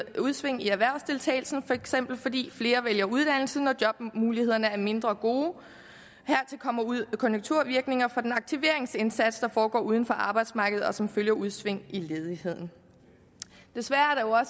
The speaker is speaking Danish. udsving i erhvervsdeltagelsen fx fordi flere vælger uddannelse når jobmulighederne er mindre gode hertil kommer konjunkturvirkninger fra den aktiveringsindsats der foregår uden for arbejdsmarkedet og som følger udsving i ledigheden desværre